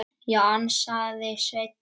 Já, ansaði Sveinn.